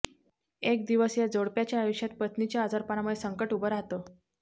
एक दिवस या जोडप्याच्या आयुष्यात पत्नीच्या आजारपणामुळे संकट उभं राहतं